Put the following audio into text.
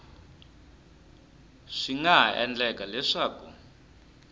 swi nga ha endleka leswaku